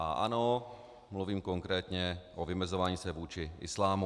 A ano, mluvím konkrétně o vymezování se vůči islámu.